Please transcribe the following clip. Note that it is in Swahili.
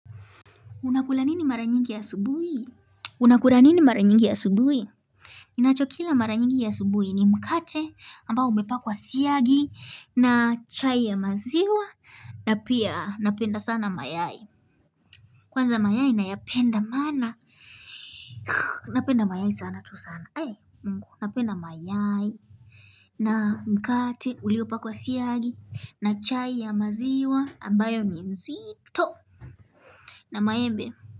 Unakula nini mara nyingi asubuhi? Unakula nini mara nyingi asubuhi? Ninachokila mara nyingi asubuhi ni mkate ambao umepakwa siagi na chai ya maziwa na pia napenda sana mayai. Kwanza mayai nayapenda maana. Napenda mayai sana tu sana. Eh mungu napenda mayai na mkate uliopakwa siagi na chai ya maziwa ambayo ni nzito na maembe.